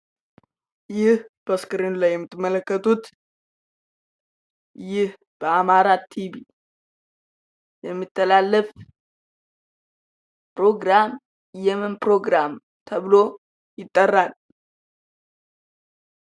ይህ በስክሪኑ ላይ የምትመለከቱት ይህ በአማራ ቲቪ የሚተላለፍ ፕሮግራም የምን ፕሮግራም ተብሎ ይጠራል ?